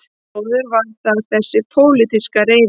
Áður var það þessi pólitíska reiði